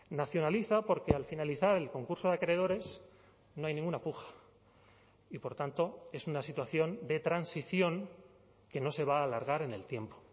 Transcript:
nacionaliza porque al finalizar el concurso de acreedores no hay ninguna puja y por tanto es una situación de transición que no se va a alargar en el tiempo